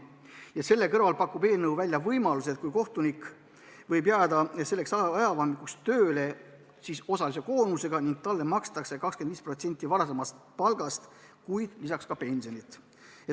Ja selle kõrval pakub eelnõu välja võimaluse, et kui kohtunik jääb selleks ajavahemikuks tööle, siis osalise koormusega ning talle makstakse 25% varasemast palgast, kuid lisaks ka pensionit.